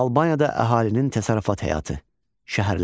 Albaniyada əhalinin təsərrüfat həyatı, şəhərlər.